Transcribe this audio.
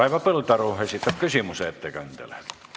Raivo Põldaru esitab ettekandjale küsimuse.